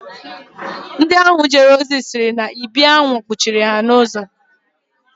Ndị ahụ jere ozi sịrị na ibi aṅụ kwuchiiri ha ụzọ